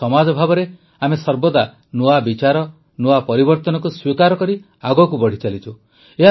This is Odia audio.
ଏକ ସମାଜ ଭାବେ ଆମେ ସର୍ବଦା ନୂଆ ବିଚାର ନୂଆ ପରିବର୍ତନକୁ ସ୍ୱୀକାର କରି ଆଗକୁ ବଢ଼ିଚାଲିଛୁ